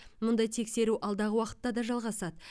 мұндай тексеру алдағы уақытта да жалғасады